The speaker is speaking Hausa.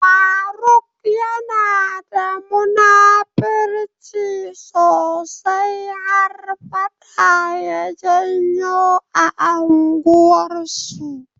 Faruk yanada da munafirci sosai, har faɗa ya janyo a unguwan su.